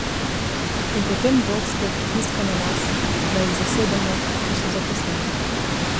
In potem vodstvo pritiska na nas, naj jih zasedamo, ker so zaposleni.